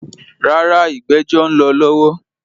Rárá, “ ìgbẹ́jọ́” ń lọ lọ́wọ́.